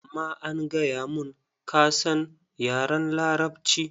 Amma an gaya mun, ka san yaran Larabci.